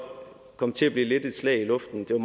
komme til at blive lidt et slag i luften det er